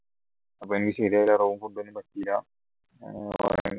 അപ്പൊ എനിക്ക് ശരിയായ ഒരു room